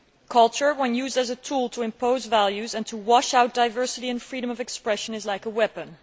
Culture, when used as a tool to impose values and to wash out diversity and freedom of expression, is like a weapon.